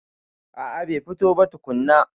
A a bai fito ba tukunna.